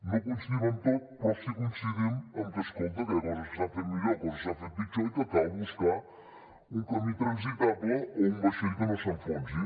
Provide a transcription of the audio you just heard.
no coincidim amb tot però sí que coincidim en que escolta que hi ha coses que s’han fet millor coses que s’han fet pitjor i que cal buscar un camí transitable o un vaixell que no s’enfonsi